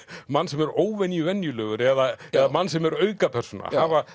mann sem er óvenju venjulegur eða mann sem er aukapersóna